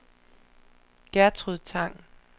Gertrud Tang